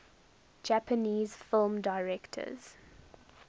japanese film directors